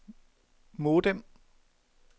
modem